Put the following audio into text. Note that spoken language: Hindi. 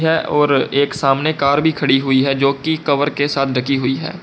और एक सामने कार भी खड़ी हुई है जो की कवर के साथ ढकी हुई है।